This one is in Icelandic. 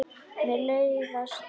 Mér leiðast luntar.